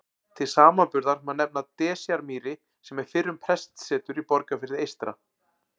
Til samanburðar má nefna Desjarmýri sem er fyrrum prestsetur í Borgarfirði eystra.